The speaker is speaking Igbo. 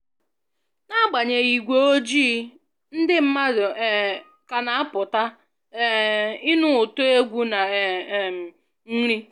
N'agbanyeghị igwe ojii, ndị mmadụ um ka na-apụta um ịnụ ụtọ egwu na um nri